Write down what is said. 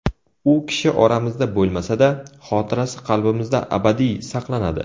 U kishi oramizda bo‘lmasa-da, xotirasi qalbimizda abadiy saqlanadi.